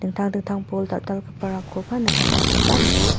dingtang dingtang bol dal·dalgiparangkoba nikatna gita man·a.